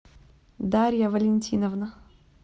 дарья валентиновна